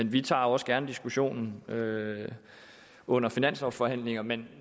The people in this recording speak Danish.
vi tager også gerne diskussionen under finanslovsforhandlingerne men